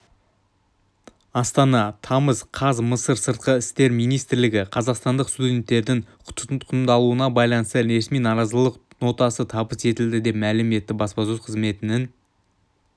астана тамыз қаз мысыр сыртқы істер министрлігіне қазақстандық студенттердің тұтқындалуына байланысты ресми наразылық нотасы табыс етілді деп мәлім етті баспасөз қызметінің